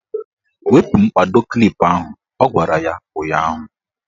Wepu mkpado klip ahụ! Ọ gwara ya ụnyaahụ.